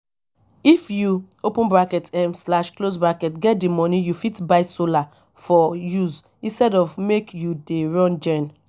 if you um get di money you fit buy solar for use instead of make you dey run gen